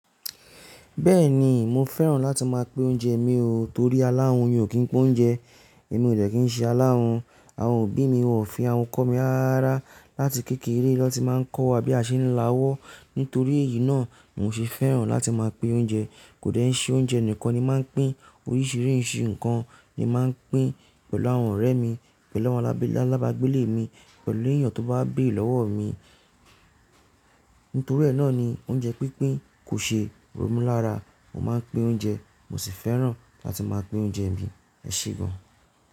Bẹ́ẹ̀ni, mo fẹ́ràn láti máa pín oúnjẹ mi o, torí aláàrùn ni ò kì í pín oúnjẹ. Èmi ò dẹ̀ kí ń ṣe aláhùn, àwọn òbí mi ò fi àhun kọ mi ara láti kékeré lọ ti máa ń kọ́ wa bí a ṣe ń láwọ́. Nítorí èyí náà, mo ṣe fẹ́ràn láti máa pín oúnjẹ. Kò dẹ̀ ń ṣe oúnjẹ nìkan ni màá pín, oríṣiríṣi nǹkan ni màá pín pẹ̀lú àwọn ọ̀rẹ́ mi, pẹ̀lú àwọn alábàgbéle mi, pẹ̀lú èèyàn tó bá bèrè lọ́wọ́ mi. Nítoríẹ̀ náà ni oúnjẹ pínpín kò ṣe ro mi lára. Mo máa ń pín oúnjẹ, mo sì fẹ́ràn láti máa pín oúnjẹ mi, ẹ ṣe gan.